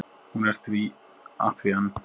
Hún er að því enn!